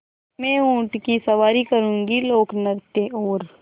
मैं ऊँट की सवारी करूँगी लोकनृत्य और